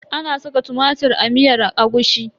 Ana saka tumatir a miyar agushi?